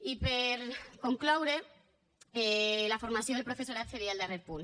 i per concloure la formació del professorat seria el darrer punt